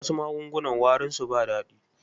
Wasu magungunan warinsu ba daɗi.